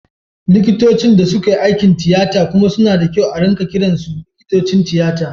Likitocin da suka yi aikin tiyata kuma suna da kyau ana kiransu likitocin tiyata.